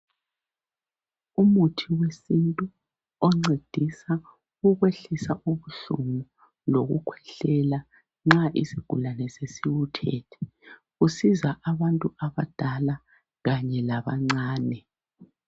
Umuthi wesintu oncedisa ukwehlisa ubuhlungu lokukhwehlela nxa isigulane sesiwuthethe usiza abantu abadala kanye labancane.